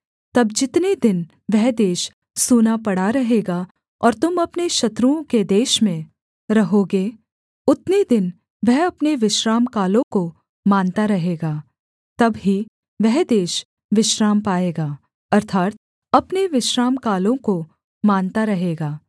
तब जितने दिन वह देश सूना पड़ा रहेगा और तुम अपने शत्रुओं के देश में रहोगे उतने दिन वह अपने विश्रामकालों को मानता रहेगा तब ही वह देश विश्राम पाएगा अर्थात् अपने विश्रामकालों को मानता रहेगा